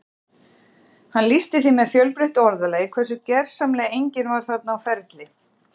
Hann lýsti því með fjölbreyttu orðalagi hversu gersamlega enginn var þarna á ferli